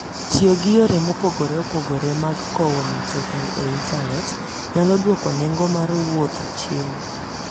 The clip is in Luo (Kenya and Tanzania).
Tiyo gi yore mopogore opogore mag kowo mtokni e intanet nyalo dwoko nengo mar wuoth chien.